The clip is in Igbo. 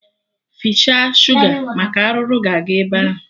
Fichaa shuga maka arụrụ ga-aga ebe ahụ